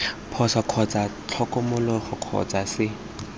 phoso kgotsa tlhokomologo kgotsa c